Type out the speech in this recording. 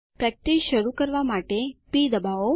practice શરૂ કરવા માટે પ દબાવો